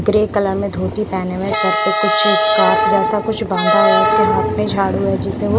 grey colour में धोती पहने हुए सर पे कुछ स्क्राफ जेसा कुछ बंधा हुआ है उसके हाथ में झाड़ू है जिसे वो--